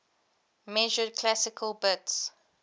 measured classical bits